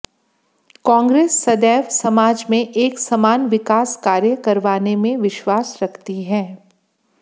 कांग्रेस सदैव समाज में एक समान विकास कार्य करवाने में विश्वास रखती है